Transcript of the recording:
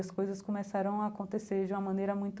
As coisas começaram a acontecer de uma maneira muito